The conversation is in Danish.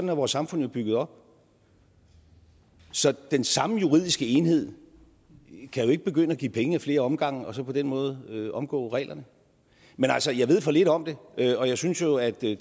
vores samfund jo bygget op så den samme juridiske enhed kan jo ikke begynde at give penge ad flere omgange og så på den måde omgå reglerne men altså jeg ved for lidt om det og jeg synes jo at det